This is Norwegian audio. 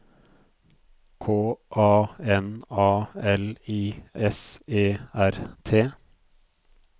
K A N A L I S E R T